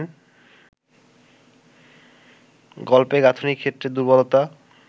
গল্পের গাঁথুনির ক্ষেত্রে দুর্বলতা